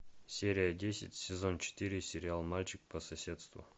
серия десять сезон четыре сериал мальчик по соседству